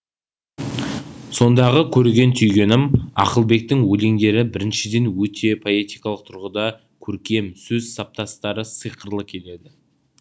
сондағы көрген түйгенім ақылбектің өлеңдері біріншіден өте поэтикалық тұрғыда көркем сөз саптастары сыйқырлы келеді